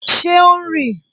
Ṣé o ń rì?